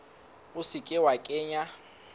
o se ke wa kenya